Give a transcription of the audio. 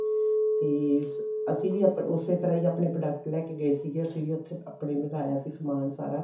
ਤੇ ਅਸੀਂ ਵੀ ਆਪ ਉਸੇ ਤਰ੍ਹਾਂ ਹੀ ਆਪਣੇ product ਲੈ ਕੇ ਗਏ ਸੀਗੇ ਅਸੀਂ ਵੀ ਉੱਥੇ ਆਪਣੇ ਲਗਾਇਆ ਸੀ ਸਮਾਨ ਸਾਰਾ